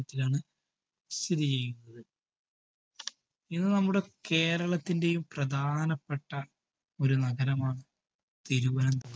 ണത്തിലാണ് സ്ഥിതിചെയ്യുന്നത്. ഇത് നമ്മുടെ കേരളത്തിന്റെയും പ്രധാനപ്പെട്ട ഒരു നഗരമാണ് തിരുവനന്തപു